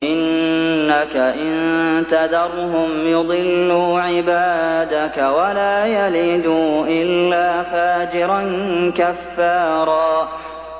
إِنَّكَ إِن تَذَرْهُمْ يُضِلُّوا عِبَادَكَ وَلَا يَلِدُوا إِلَّا فَاجِرًا كَفَّارًا